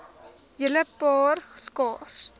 hele paar skaars